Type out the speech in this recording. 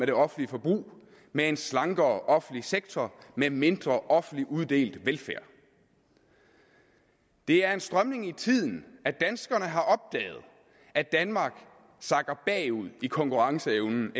det offentlige forbrug med en slankere offentlig sektor med mindre offentligt uddelt velfærd det er en strømning i tiden at danskerne har opdaget at danmark sakker bagud i konkurrenceevnen